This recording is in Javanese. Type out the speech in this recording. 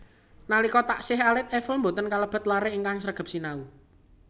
Nalika taksih alit Eiffel boten kalebet laré ingkang sregep sinau